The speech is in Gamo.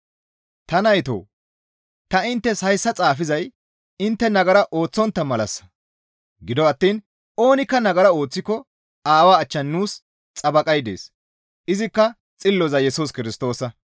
Ta naytoo! Ta inttes hayssa xaafizay intte nagara ooththontta malassa; gido attiin oonikka nagara ooththiko Aawaa achchan nuus xabaqay dees; izikka xilloza Yesus Kirstoosa.